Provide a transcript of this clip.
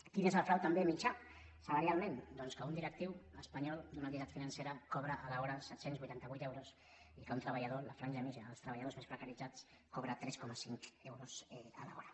quin és el frau també mitjà salarialment doncs que un directiu espanyol d’una entitat financera cobra a l’hora set cents i vuitanta vuit euros i que un treballador la franja mitjana dels treballadors més precaritzats cobra tres coma cinc euros a l’hora